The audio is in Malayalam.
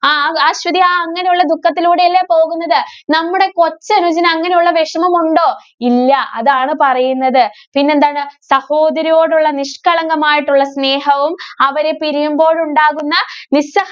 ആ അശ്വതി അങ്ങനെയുള്ള ദുഃഖത്തിലൂടെയല്ലേ പോകുന്നത്. നമ്മുടെ കൊച്ചനുജന് അങ്ങനെയുള്ള വെഷമമുണ്ടോ? ഇല്ല. അതാണ് പറയുന്നത്. പിന്നെന്താണ്? സഹോദരിയോടുള്ള നിഷ്കളങ്കമായിട്ടുള്ള സ്നേഹവും, അവരെ പിരിയുമ്പോഴുണ്ടാകുന്ന നിസ്സ~